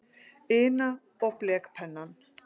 ina og blekpennann.